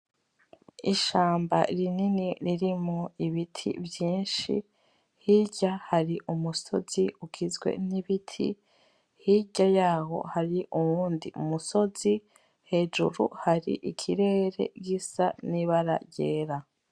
Ishamba rinini ririmwo ibiti vyinshi, hirya hari umusozi ugizwe n'ibiti, hirya yaho hari uwundi musozi, hejuru hari ikirere gisa n'ibara ryera.